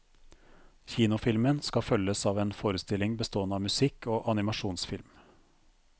Kinofilmen skal følges av en forestilling bestående av musikk og animasjonsfilm.